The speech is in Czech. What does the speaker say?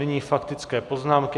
Nyní faktické poznámky.